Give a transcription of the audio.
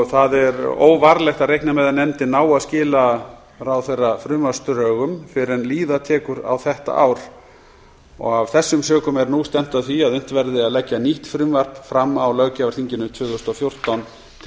það er óvarlegt að reikna með að nefndin nái að skila ráðherra frumvarpsdrögum fyrr en líða tekur á þetta ár af þeim sökum er nú stefnt að því að unnt verði að leggja nýtt frumvarp fram á löggjafarþinginu tvö þúsund og fjórtán til